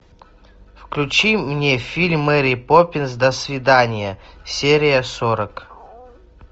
включи мне фильм мэри поппинс до свидания серия сорок